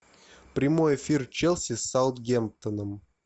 прямой эфир челси с саутгемптоном